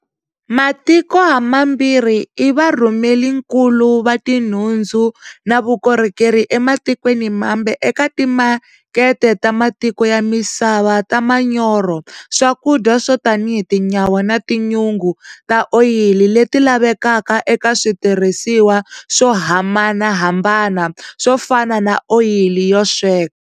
Matiko hamambirhi i varhumelinkulu va tinhundzu na vukorhokeri ematikweni mambe eka timakete ta matiko ya misava ta manyoro, swakudya swo tanihi tinyawa na tinyungu ta oyili leti lavekaka eka switirhisiwa swo hamhanahambana swo fana na oyili yo sweka.